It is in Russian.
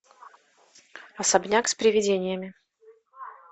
особняк с привидениями